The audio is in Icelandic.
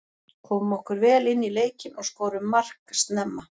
Komum okkur vel inní leikinn og skorum mark snemma.